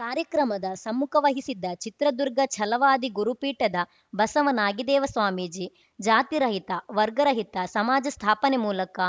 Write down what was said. ಕಾರ್ಯಕ್ರಮದ ಸಮ್ಮುಖ ವಹಿಸಿದ್ದ ಚಿತ್ರದುರ್ಗ ಛಲವಾದಿ ಗುರುಪೀಠದ ಬಸವ ನಾಗಿದೇವ ಸ್ವಾಮೀಜಿ ಜಾತಿರಹಿತ ವರ್ಗರಹಿತ ಸಮಾಜ ಸ್ಥಾಪನೆ ಮೂಲಕ